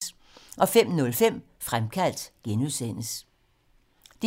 DR1